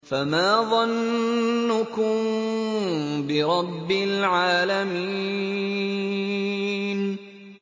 فَمَا ظَنُّكُم بِرَبِّ الْعَالَمِينَ